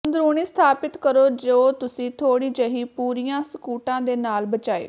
ਅੰਦਰੂਨੀ ਸਥਾਪਿਤ ਕਰੋ ਜੋ ਤੁਸੀਂ ਥੋੜ੍ਹੀ ਜਿਹੀ ਪੂਰੀਆਂ ਸਕੂਟਾਂ ਦੇ ਨਾਲ ਬਚਾਏ